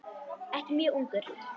Ekki mjög ungur.